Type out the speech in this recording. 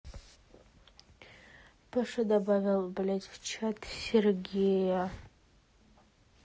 паша добавил блядь в чат сергея